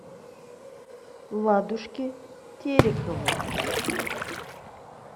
ладушке тереховой